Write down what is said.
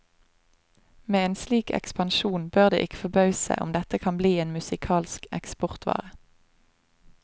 Med en slik ekspansjon bør det ikke forbause om dette kan bli en musikalsk eksportvare.